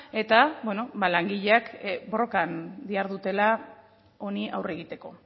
eta langileak borrokan dihardutela honi aurre egiteko